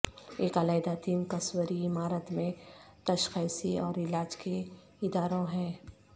ایک علیحدہ تین قصوری عمارت میں تشخیصی اور علاج کے اداروں ہیں